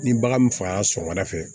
Ni bagan min fagala sɔgɔmada fɛ